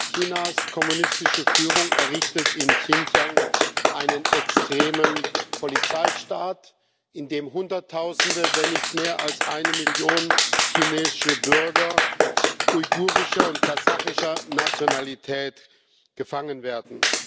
Chinas kommunistische Führung errichtet in Xinjiang einen extremen Polizeistaat, in dem Hunderttausende, wenn nicht mehr als eine Million chinesische Bürger uigurischer und kasachischer Nationalität inhaftiert werden.